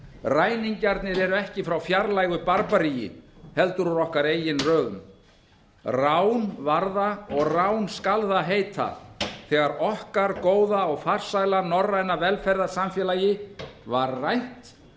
ræningjarnir eru ekki frá fjarlægu barbararíki heldur úr okkar eigin röðum rán var það og rán skal það heita þegar okkar góða og farsæla norræna velferðarsamfélagi var rænt